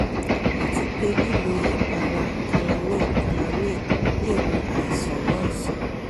àti pé lílo ìpara calamine calamine lè wo àìsàn náà sàn